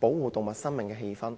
保護動物生命的氣氛。